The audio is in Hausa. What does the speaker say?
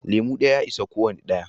Lemu ɗaya ya isa kwana ɗaya